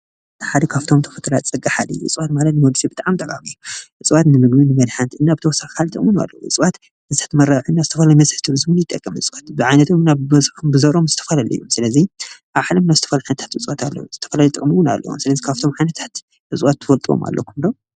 እቲ ሓደ ካብቶ ተፈጥራዊ ፀጋ ሓደ እዩ፡፡ እፅዋት ማይ ንመምፅኢ ብጣዕሚ ጠቓሚ እዩ፡፡ እፅዋት ንምግቢ፣ ንመድሓኒት እና ብተወሳኺ ከዓ ጥቕሚ እውን ኣለዎም፡፡ እፅዋት ብዓይነቶም ኣብ በዝሖም ዘለዉ ዝተፈላለዩ፡፡ ስለዚ ኣብ ዓለምና ዝተፈላለዩ እፅዋት ኣለዉ፡፡ ዝተፈላለየ ጥቕሚ እውን ኣለዎም፡፡ ስለዚ ካብቶም ዓይነታት እፅዋት ትፈልዎም ኣለኩም ዶ?